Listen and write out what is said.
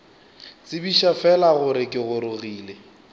tsebiša fela gore ke gorogile